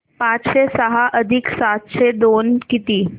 पाचशे सहा अधिक सातशे दोन किती